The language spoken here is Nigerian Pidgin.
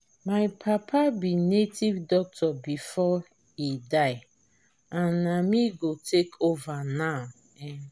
my papa be native doctor before he die and na me go take over now um